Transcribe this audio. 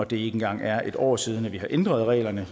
det ikke engang er et år siden vi har ændret reglerne